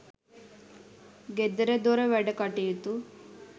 ගෙදරදොර වැඩකටයුතු